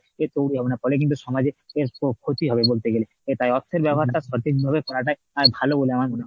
অ্যাঁ তৈরি হবে না ফলে কিন্তু সমাজের অ্যাঁ খ~ ক্ষতি হবে বলতে গেলে তাই অর্থনীতি ব্যাপারটা সঠিকভাবে চলাটাই অ্যাঁ ভালো বলে আমার